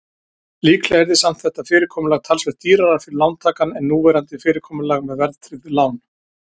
Líklega yrði samt þetta fyrirkomulag talsvert dýrara fyrir lántakann en núverandi fyrirkomulag með verðtryggð lán.